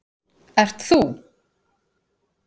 ert ÞÚ.